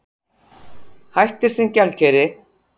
Hættir sem gjaldkeri